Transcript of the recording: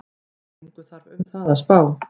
Engu þarf um það að spá,